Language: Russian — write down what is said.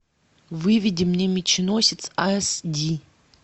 выведи мне меченосец ас ди